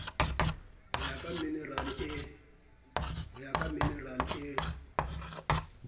ho ya ka minerale e